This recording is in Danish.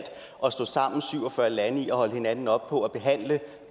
at stå sammen syv og fyrre lande om at holde hinanden op på at behandle